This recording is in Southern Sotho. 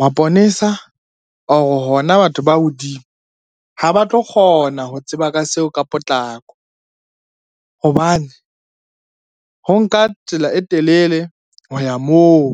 maponesa or hona batho ba hodimo, ha ba tlo kgona ho tseba ka seo ka potlako hobane ho nka tsela e telele ho ya moo.